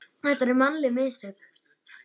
Eru þetta mannleg mistök?